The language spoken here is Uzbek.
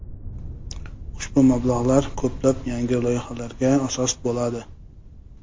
Ushbu mablag‘lar ko‘plab yangi loyihalarga asos bo‘ladi.